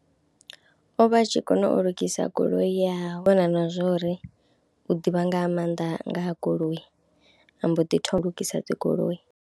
O vha a tshi kona u lugisa goloi ya hawe na u kona na zwo ri u ḓivha nga maanḓa nga ha goloi a mbo ḓi thoma lugisa dzi goloi.